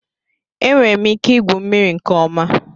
Enwere m ike igwu mmiri nke ọma